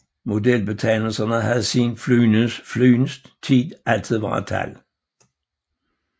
Modelbetegnelserne havde siden flyenes tider altid været tal